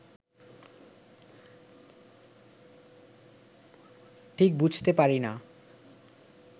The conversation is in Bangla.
ঠিক বুঝতে পারি না